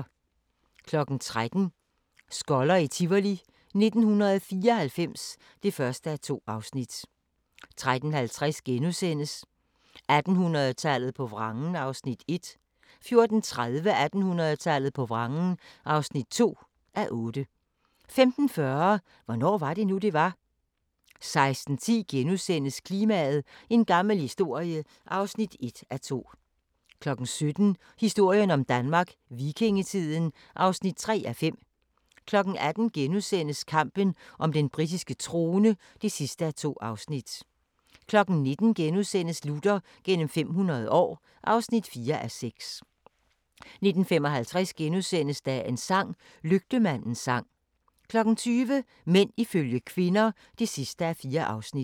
13:00: Skoller i Tivoli 1994 (1:2) 13:50: 1800-tallet på vrangen (1:8)* 14:30: 1800-tallet på vrangen (2:8) 15:40: Hvornår var det nu, det var? 16:10: Klimaet – en gammel historie (1:2)* 17:00: Historien om Danmark: Vikingetiden (3:5) 18:00: Kampen om den britiske trone (2:2)* 19:00: Luther gennem 500 år (4:6)* 19:55: Dagens sang: Lygtemandens sang * 20:00: Mænd ifølge kvinder (4:4)